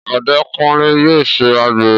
Ọdẹkunlé yóò ṣe àgbèrè